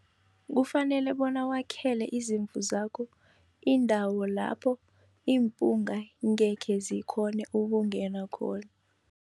Kufanele bona wakhele izimvu zakho indawo lapho impunga ngekhe zikhone ukungena khona.